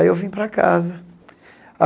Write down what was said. Aí eu vim para casa.